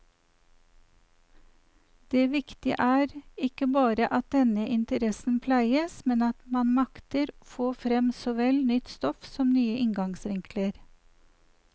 Det viktige er ikke bare at denne interessen pleies, men at man makter få frem såvel nytt stoff som nye inngangsvinkler.